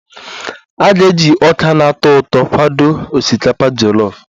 A ga-eji ọka na-atọ ụtọ kwado osikapa jọlọf